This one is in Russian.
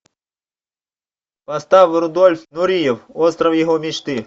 поставь рудольф нуриев остров его мечты